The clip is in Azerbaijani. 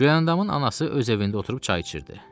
Gülyandamın anası öz evində oturub çay içirdi.